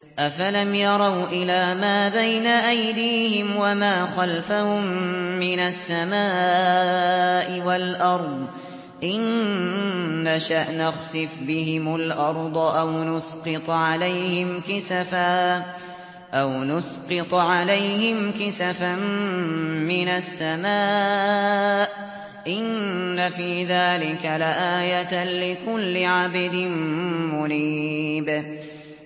أَفَلَمْ يَرَوْا إِلَىٰ مَا بَيْنَ أَيْدِيهِمْ وَمَا خَلْفَهُم مِّنَ السَّمَاءِ وَالْأَرْضِ ۚ إِن نَّشَأْ نَخْسِفْ بِهِمُ الْأَرْضَ أَوْ نُسْقِطْ عَلَيْهِمْ كِسَفًا مِّنَ السَّمَاءِ ۚ إِنَّ فِي ذَٰلِكَ لَآيَةً لِّكُلِّ عَبْدٍ مُّنِيبٍ